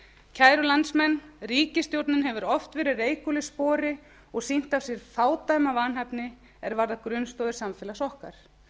kæru landsmenn ríkisstjórnin hefur oft verið reikul í spori og sýnt af sér fádæma vanhæfni er varðar grunnstoðir samfélags okkar